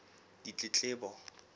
ditletlebo